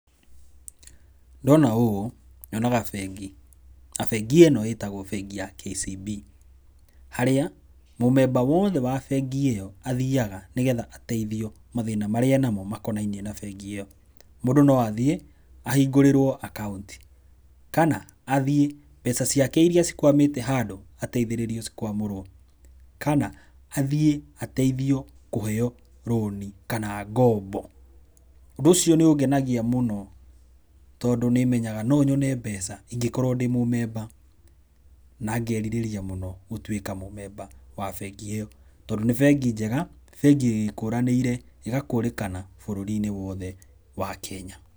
Ndona ũũ nyonaga bengi, na bengi ĩno ĩtagwo bengi ya KCB, harĩa mũmemba wothe wa bengi ĩyo athiaga nĩgetha ateithio mathĩna marĩa enamo makonainĩe na bengi ĩyo, mũndũ no athiĩ ahingũrĩrwo account kana athiĩ mbeca ciake iria cikwamĩte handũ ateithĩrĩrio cikwamũrwo kana atihĩe ateithio kũheyo rũni kana ngombo, ũndũ ũcio nĩ ũngenagia mũno tondũ nĩmenyaga no nyone mbeca ingĩkorwo ndĩ mũmemba na ngerirĩria mũno gũtuĩka mũmemba wa bengi ĩyo, tondũ nĩ bengi njega, bengi ĩkũranĩire ĩgakũrĩkana bũrũri-inĩ wothe wa Kenya.